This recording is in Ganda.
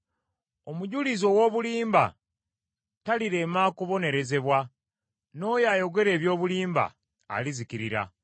Omujulizi ow’obulimba talirema kubonerezebwa, n’oyo ayogera eby’obulimba alizikirira.